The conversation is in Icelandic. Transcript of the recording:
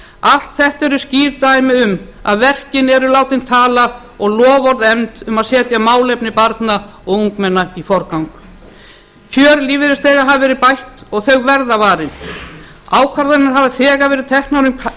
allt þetta eru skýr dæmi um að verkin eru látin tala og loforð efnd um að setja málefni barna og ungmenna í forgang kjör lífeyrisþega hafa verið bætt og þau verða varin ákvarðanir hafa þegar verið teknar um